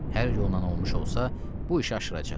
Hər yolla olmuş olsa, bu işi aşıracaq.